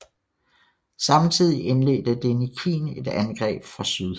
Samtidig indledte Denikin et angreb fra syd